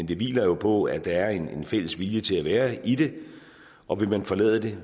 det hviler jo på at der er en fælles vilje til at være i det og vil man forlade det